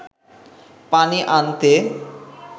পানি আনতে